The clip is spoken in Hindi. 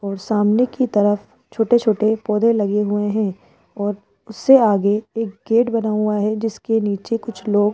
और सामने की तरफ छोटे छोटे पौधे लगे हुए हैं और उससे आगे एक गेट बना हुआ है जिसके नीचे कुछ लोग --